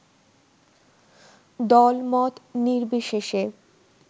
দলমত নির্বিশেষে